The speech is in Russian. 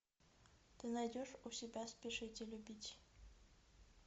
ты найдешь у себя спешите любить